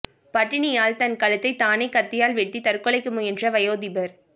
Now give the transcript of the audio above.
பட்டினியால் தன் கழுத்தை தானே கத்தியால் வெட்டி தற்கொலைக்கு முயன்ற வயோதிபர்